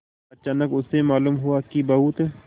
अचानक उसे मालूम हुआ कि बहुत